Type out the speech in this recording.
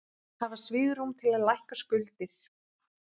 Hafa svigrúm til að lækka skuldir